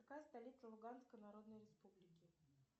какая столица луганской народной республики